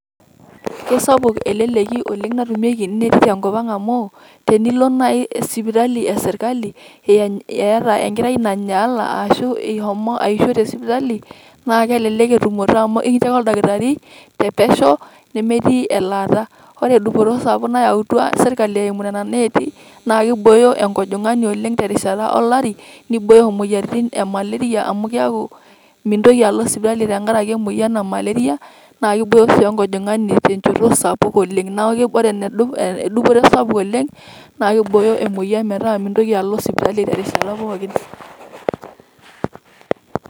Kesapuk eleleki oleng' natumieki ineeti tenkop ang' amu, tenilo nai sipitali esirkali, iyata enkerai nanyaala ashu ishomo aisho tesipitali, na kelelek entumoto amu kincho ake oldakitari te pesho, nemetii elaata. Ore dupoto sapuk nayautua sirkali eimu nena neeti, na kibooyo enkojong'ani oleng' terishata olari, nibooyo maleria amu keeku mintoki alo sipitali tenkaraki emoyian e maleria, na kibooyo si enkojong'ani tenchoto sapuk oleng'. Neeku ore dupoto sapuk oleng',na kibooyo emoyian metaa mintoki alo sipitali terishata pookin.